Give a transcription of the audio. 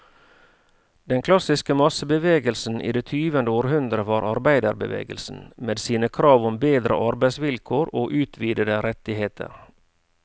Den klassiske massebevegelsen i det tyvende århundre var arbeiderbevegelsen, med sine krav om bedre arbeidsvilkår og utvidede rettigheter.